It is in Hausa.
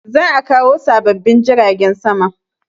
Za a kawo sababbin jiragen sama